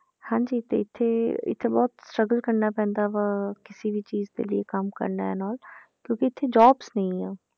ਹਾਂਜੀ ਤੇ ਇੱਥੇ ਇੱਥੇ ਬਹੁਤ struggle ਕਰਨਾ ਪੈਂਦਾ ਵਾ, ਕਿਸੇ ਵੀ ਚੀਜ਼ ਦੇ ਲਈ ਕੰਮ ਕਰਨਾ an all ਕਿਉਂਕਿ ਇੱਥੇ jobs ਨੀ ਆ,